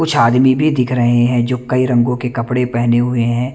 कुछ आदमी भी दिख रहे हैं जो कई रंगो के कपड़े पहने हुए हैं।